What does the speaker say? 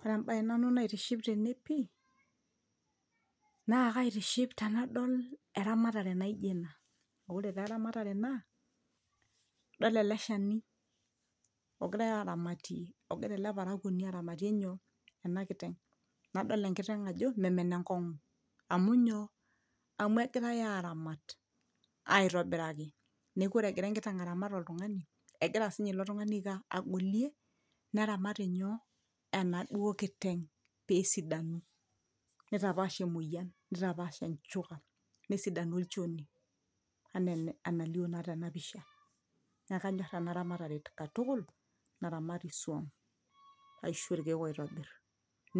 ore embaye nanu naitiship tene pii naa kaitiship tenadol eramatare naijo ena ore taa eramatare naa idol ele shani ogirae aramatie ogira ele parakuoni aramatie nyoo ena kiteng nadol enkiteng ajo memen enkong'u amu nyoo amu egirae aramat aitobiraki neeku ore egira enkiteng aramat oltung'ani egira sinye ilo tung'ani aiko aa agolie neramat inyoo enaduo kiteng pesidanu nitapaash emoyian nitapaash enchuka nesidanu olchoni anaa enalio naa tena pisha naa kanyorr ena ramatare katukul naramati isuam aisho irkeek oitobirr